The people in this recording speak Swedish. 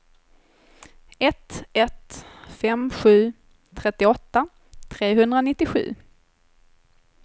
ett ett fem sju trettioåtta trehundranittiosju